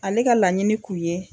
Ale ka laɲini k'u ye.